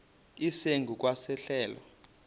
esingu kwa sehlelo